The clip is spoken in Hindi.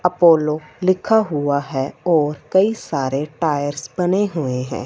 अपोलो लिखा हुआ है कई सारे टायर्स बने हुए है।